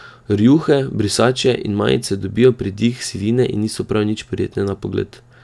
Rjuhe, brisače in majice dobijo pridih sivine in niso prav nič prijetne na pogled.